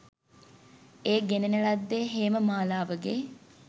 එය ගෙන න ලද්දේ හේම මාලාවගේ